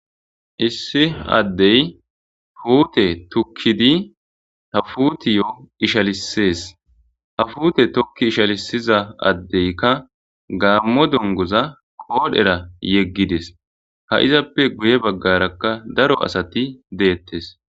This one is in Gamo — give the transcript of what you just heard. issi addey puute tukkidi ha fuutiyo ishalisees ha fuute tokki ishalisiza addeykka gaammo dongoza koodhera yeggides ha izappe guye baggarakka daro asati deettes